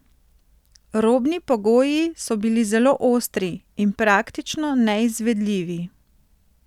Robni pogoji so bili zelo ostri in praktično neizvedljivi.